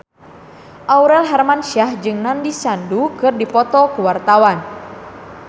Aurel Hermansyah jeung Nandish Sandhu keur dipoto ku wartawan